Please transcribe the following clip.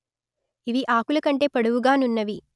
ఇవి ఆకుల కంటే పొడవుగా నున్నవి